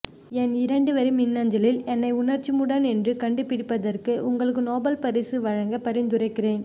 என் இரண்டு வரி மின்னஞலில் என்னை உணர்ச்சிமூடன் என்று கண்டு பிடித்ததற்கு உங்களுக்கு நோபல் பரிசு வழங்க பரிந்துரைக்கிறேன்